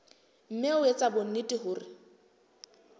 mme o etse bonnete hore